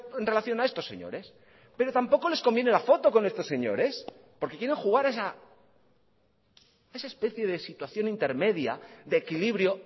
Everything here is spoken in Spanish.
en relación a estos señores pero tampoco les conviene la foto con estos señores porque quieren jugar esa especie de situación intermedia de equilibrio